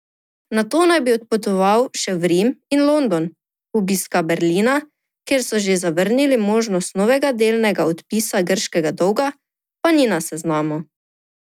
Nato naj bi odpotoval še v Rim in London, obiska Berlina, kjer so že zavrnili možnost novega delnega odpisa grškega dolga, pa ni na seznamu.